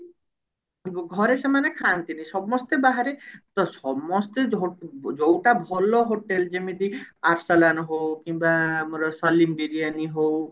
ଘରେ ସେମାନେ ଖାଆନ୍ତି ନି ସମସ୍ତେ ବାହାରେ ତ ସମସ୍ତେ ଯ ଯୋଉଟା ଭଲ hotel ଯେମିତି ଆରସଲନ ହଉ କିମ୍ବା ଆମର ସଲିମ ବିରିୟାନୀ ହଉ